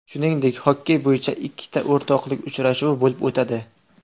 Shuningdek, xokkey bo‘yicha ikkita o‘rtoqlik uchrashuvi bo‘lib o‘tadi.